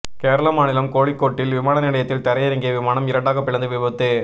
கேரள மாநிலம் கோழிக்கோட்டில் விமான நிலையத்தில் தரையிறங்கிய விமானம் இரண்டாக பிளந்து விபத்து